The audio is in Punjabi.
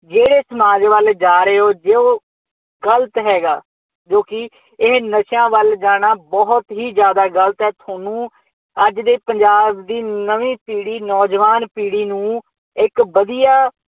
ਜਿਹੜੇ ਸਮਾਜ ਵੱਲ ਜਾ ਰਹੇ ਹੋ, ਜੇ ਉਹ ਗਲਤ ਹੈਗਾ, ਜੋ ਕਿ ਇਹ ਨਸ਼ਿਆ ਵੱਲ ਜਾਣਾ ਬਹੁਤ ਹੀ ਜ਼ਿਆਦਾ ਗਲਤ ਹੈ, ਤੁਹਾਨੂੰ ਅੱਜ ਦੇ ਪੰਜਾਬ ਦੀ ਨਵੀਂ ਪੀੜੀ ਨੌਜਵਾਨ ਪੀੜੀ ਨੂੰ ਇੱਕ ਵਧੀਆ